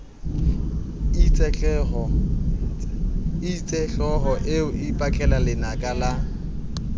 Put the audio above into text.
itsehlooho eo e ipatlelalenaka la